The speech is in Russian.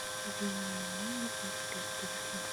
вениамина альбертовича